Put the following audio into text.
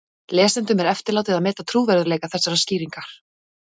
Lesendum er eftirlátið að meta trúverðugleika þessarar skýringar.